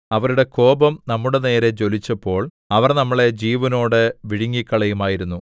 അവരുടെ കോപം നമ്മളുടെ നേരെ ജ്വലിച്ചപ്പോൾ അവർ നമ്മളെ ജീവനോടെ വിഴുങ്ങിക്കളയുമായിരുന്നു